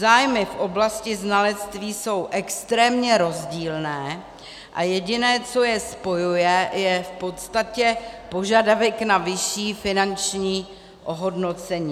Zájmy v oblasti znalectví jsou extrémně rozdílné a jediné, co je spojuje, je v podstatě požadavek na vyšší finanční ohodnocení.